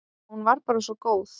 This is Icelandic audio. Hún var bara svo góð.